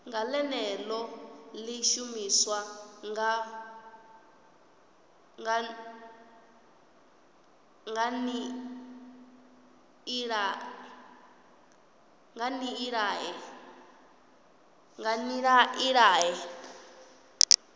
ḽeneḽo ḽi shumiswa nga nḓilaḓe